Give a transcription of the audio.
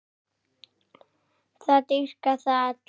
Það dýrka það allir.